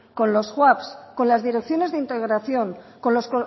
con los con las direcciones de integración con los